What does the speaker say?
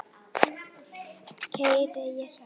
Keyri ég hratt?